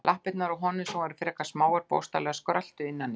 Lappirnar á honum, sem voru frekar smáar, bókstaflega skröltu innan í þeim.